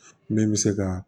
Min bɛ se ka